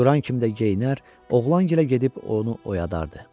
Duran kimi də geyinər, oğlan gilə gedib onu oyadardı.